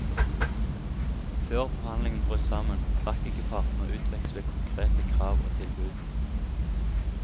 Før forhandlingene brøt sammen, rakk ikke partene å utveksle konkrete krav og tilbud.